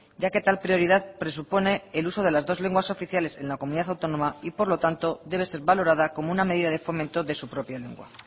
ya que tal prioridad presupone el uso de las dos lenguas oficiales en la comunidad autónoma y por lo tanto debe ser valorada como una medida de fomento de su propia lengua